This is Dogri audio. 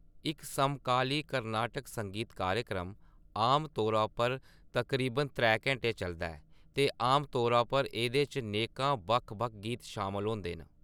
इक समकाली कर्नाटिक संगीत कार्यक्रम आमतौरा उप्पर तकरीबन त्रै घैंटे चलदा ऐ, ते आमतौरा उप्पर एह्दे च नेकां बक्ख-बक्ख गीत शामल होंदे न।